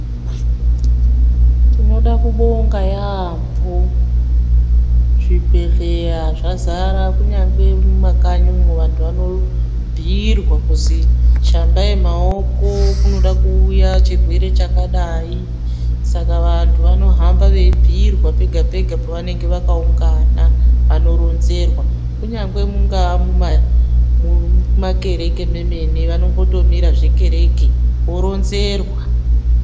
Tinoda kubonga yambo zvibhedhleya zvadzara kunyangwe mumakanyi umu vandu vanobhuyirwa kuzi shambayi maoko kunode kuuya chirwere chakadai saka vandu vanorambe veyibhuyirwa pega pega pavanenge vakaungana vanoronzerwa kunyaangwee mungava mumakereke memwene vanotombomira zvemakereke voronzerwa.